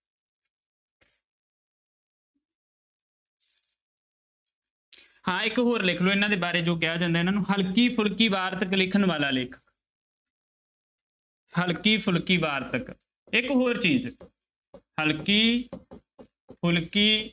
ਹਾਂ ਇੱਕ ਹੋਰ ਲਿਖ ਲਓ ਇਹਨਾਂ ਦੇ ਬਾਰੇ ਜੋ ਕਿਹਾ ਜਾਂਦਾ ਇਹਨਾਂ ਨੂੰ ਹਲਕੀ ਫੁਲਕੀ ਵਾਰਤਕ ਲਿਖਣ ਵਾਲਾ ਲੇਖਕ ਹਲਕੀ ਫੁਲਕੀ ਵਾਰਤਕ, ਇੱਕ ਹੋਰ ਚੀਜ਼ ਹਲਕੀ ਫੁਲਕੀ